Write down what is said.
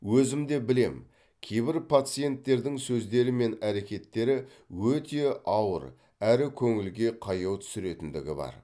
өзімде білем кейбір пациенттердің сөздері мен әрекеттері өте ауыр әрі көңілге қаяу түсіретіндігі бар